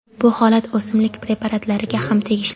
Bu holat o‘simlik preparatlariga ham tegishli.